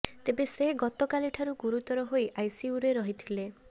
ତେବେ ସେ ଗତକାଲି ଠାରୁ ଗୁରୁତର ହୋଇ ଆଇସିୟୁରେ ରହିଥିଲେ